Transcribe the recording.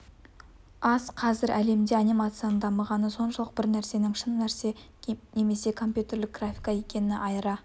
аз қазір әлемде анимацияның дамығаны соншалық бір нәрсенің шын нәрсе немесе компьютерлік графика екенін айыра